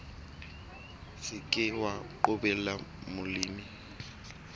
se ke wa qobella molemi